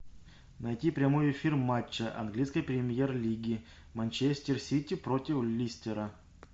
найти прямой эфир матча английской премьер лиги манчестер сити против лестера